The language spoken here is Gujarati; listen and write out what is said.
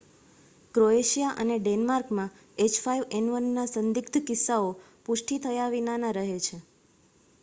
ક્રોએશિયા અને ડેનમાર્કમાં h5n1નાં સંદિગ્ધ કિસ્સાઓ પુષ્ટિ થયા વિનાના રહે છે